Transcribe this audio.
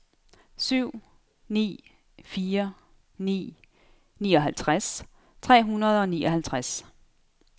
syv ni fire ni nioghalvtreds tre hundrede og nioghalvtreds